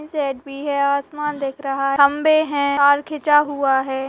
इस साईड भी है आसमान दिख रहा खंबे है तार खींचा हुआ है।